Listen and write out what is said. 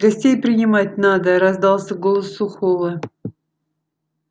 гостей принимать надо раздался голос сухого